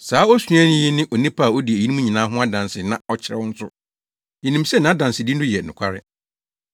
Saa osuani yi ne onipa a odi eyinom nyinaa ho adanse na ɔkyerɛw nso. Yenim sɛ nʼadansedi no yɛ nokware.